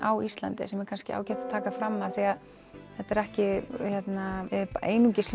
á Íslandi sem er ágætt að taka fram af því að þetta er ekki einungis